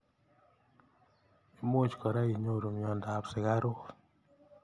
Imuch kora inyoru mnyendo ab sukaruk.